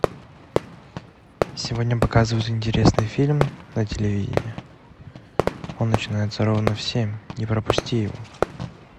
сегодня показывают интересный фильм на телевидении он начинается ровно в семь не пропусти его